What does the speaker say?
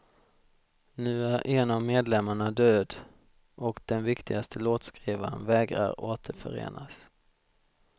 Nu är en av medlemmarna död och den viktigaste låtskrivaren vägrar återförenas.